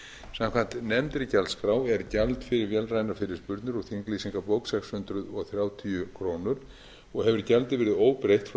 samkvæmt nefndri gjaldskrá er gjald fyrir vélrænar fyrirspurnir úr þinglýsingabók sex hundruð þrjátíu krónur og hefur gjaldið verið óbreytt frá